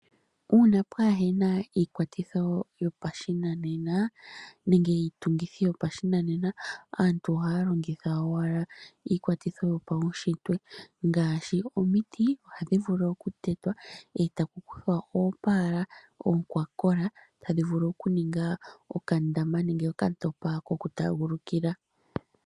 Uuna pwaahena iikwatitho yopashinanena nenge iitungithi yopashinanena aantu ohaya longitha owala iikwatitho yopaunshitwe, ngaashi omiti ohadhi vulu okutetwa eta ku kuthwa oopala oonkwakola, tadhi vulu okuninga okandama nenge okantopa ko ku taagulukila.